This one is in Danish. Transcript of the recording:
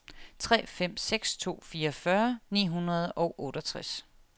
tre fem seks to fireogfyrre ni hundrede og otteogtres